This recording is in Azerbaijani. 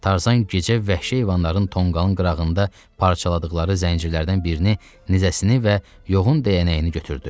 Tarzan gecə vəhşi heyvanların tonqalın qırağında parçaladıqları zəncirlərdən birini, nizəsini və yoğun dəyənəyini götürdü.